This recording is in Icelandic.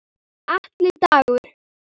Atli Dagur.